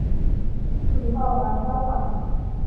she ask me help i help am